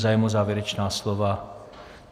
Zájem o závěrečná slova?